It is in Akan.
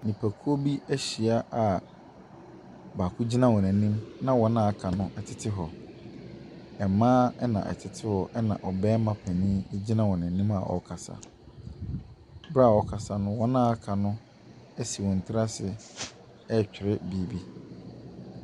Nnipakuo, bi ɛhyia a baako gyina wɔn anim na wɔn a aka no ɛtete hɔ. Mmaa ɛna ɛtete hɔ ɛna barima panyin egyina wɔn anim a ɔrekasa. Ɛbrɛ a ɔrekasa no, wɔn a aka no ɛsi wɔn tiri ase ɛretwerɛ biribi.